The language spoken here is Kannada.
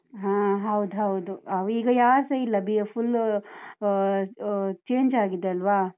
ಹ ಹೌದೌದು, ಅವ್ರೀಗ ಯಾರ್ಸ ಇಲ್ಲ full ಅಹ್ ಅಹ್ change ಆಗಿದೆ ಅಲ್ವ?